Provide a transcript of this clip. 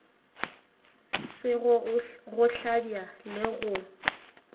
sego go hlabja le go